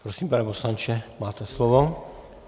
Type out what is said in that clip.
Prosím, pane poslanče, máte slovo.